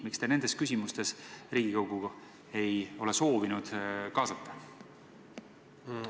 Miks te nende küsimuste otsustamisse Riigikogu ei ole soovinud kaasata?